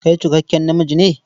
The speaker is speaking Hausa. Kai cikakken namiji ne?